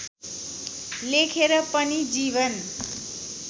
लेखेर पनि जीवन